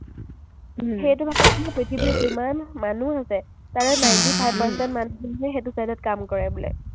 সেইটো ভাগত বোলে পৃথিৱীৰ যিমান মানুহ আছে, তাৰে ninety five percent মানুহহে সেইটো side ত কাম কৰে বোলে।